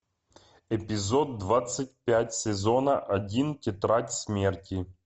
эпизод двадцать пять сезона один тетрадь смерти